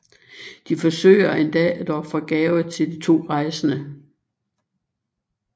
De forsøger endda at ofre gaver til de to rejsende